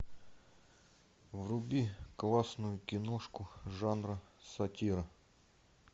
вруби классную киношку жанра сатира